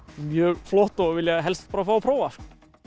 mjög flott og vilja helst fá að prófa sko